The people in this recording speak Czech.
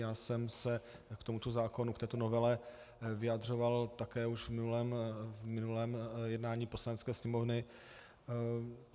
Já jsem se k tomuto zákonu, k této novele, vyjadřoval také už v minulém jednání Poslanecké sněmovny.